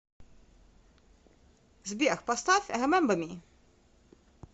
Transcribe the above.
сбер поставь ремембер ми